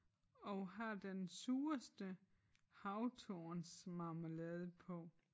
Og har den sureste havtornsmarmelade på